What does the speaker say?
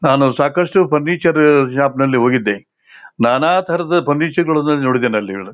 ನಾನು ಸಾಕ್ಕಷ್ಟು ಫರ್ನಿಚರ್ ಶಾಪ್ನಲ್ಲಿ ಹೋಗಿದ್ದೆ ನಾನಾ ತರದ ಫರ್ನಿಚರ್ ಗಳನ್ನಾ ನೋಡಿದ್ದೀನಿ ಅಲ್ಲಿ --